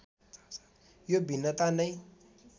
यो भिन्नता नै